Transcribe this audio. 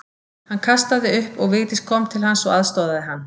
Hann kastaði upp og Vigdís kom til hans og aðstoðaði hann.